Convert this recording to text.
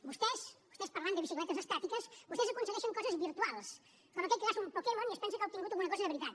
vostès vostès parlant de bicicletes estàtiques vostès aconsegueixen coses virtuals com aquell que caça un pokémon i es pensa que ha obtingut alguna cosa de veritat